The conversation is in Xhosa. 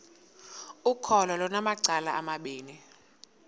ukholo lunamacala amabini